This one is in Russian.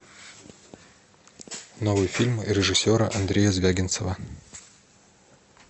новые фильмы режиссера андрея звягинцева